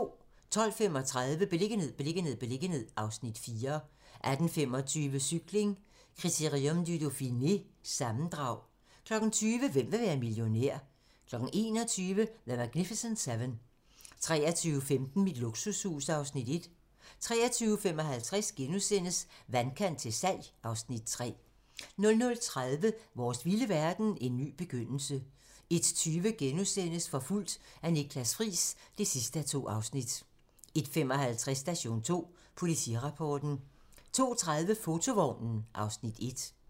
12:35: Beliggenhed, beliggenhed, beliggenhed (Afs. 4) 18:25: Cykling: Critérium du Dauphiné - sammendrag 20:00: Hvem vil være millionær? 21:00: The Magnificent Seven 23:15: Mit luksushus (Afs. 1) 23:55: Vandkant til salg (Afs. 3)* 00:30: Vores vilde verden - en ny begyndelse 01:20: Forfulgt af Niklas Friis (2:2)* 01:55: Station 2: Politirapporten 02:30: Fotovognen (Afs. 1)